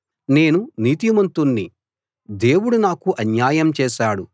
నేను నీతిమంతుణ్ణి దేవుడు నాకు అన్యాయం చేసాడు